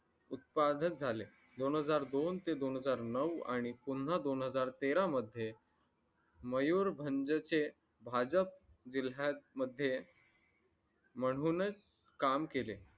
उत्पादक झाले दोन हजार दोन ते दोन हजार नऊ आणि पुन्हा दोन हजार तेरा मध्ये मयूर भंग चे भाजप जिल्ह्यात मध्ये म्हणूनच काम केले